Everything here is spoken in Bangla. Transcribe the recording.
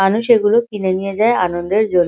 মানুষ এগুলো কিনে নিয়ে যায় আনন্দের জন্--